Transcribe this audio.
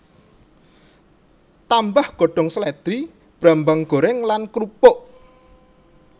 Tambah godhong slèdri brambang goreng lan krupuk